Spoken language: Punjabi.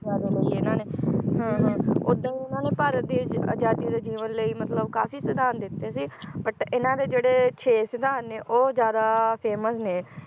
ਇਹਨਾਂ ਨੇ ਓਦਾਂ ਇਹਨਾਂ ਨੇ ਭਾਰਤ ਦੀ ਅਜ~ ਅਜਾਦੀ ਦੇ ਜੀਵਨ ਲਈ ਮਤਲਬ ਕਾਫੀ ਸਿਧਾਂਤ ਦਿੱਤੇ ਸੀ but ਇਹਨਾਂ ਦੇ ਜਿਹੜੇ ਛੇ ਸਿਧਾਂਤ ਨੇ ਉਹ ਜ਼ਿਆਦਾ famous ਨੇ